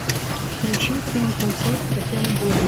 включи фильм концерт татьяны булановой